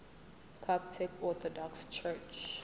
coptic orthodox church